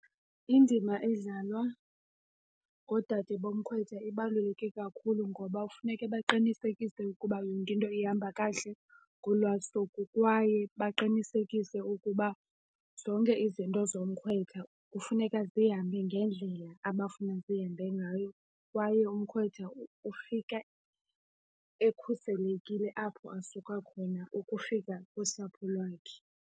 Indima edlalwa ngoodade bomkhwetha ibaluleke kakhulu ngoba kufuneke baqinisekise ukuba yonke into ihamba kakuhle ngolwa suku kwaye baqinisekise ukuba zonke izinto zomkhwetha kufuneka zihambe ngendlela abafuna zihambe ngayo. Kwaye umkhwetha ufika ekhuselekile apho asuka khona ukufika kusapho lwakhe.